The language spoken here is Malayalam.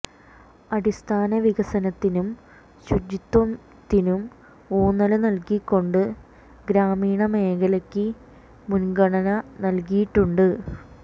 അടിസ്ഥാന വികസനത്തിനും ശുചിത്വത്തിനും ഊന്നല് നല്കിക്കൊണ്ട് ഗ്രാമീണ മേഖലയ്ക്ക് മുന്ഗണന നല്കിയിട്ടുണ്ട്